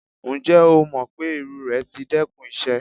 Njẹ o mọ pe iru rẹ ti dẹkun iṣẹ?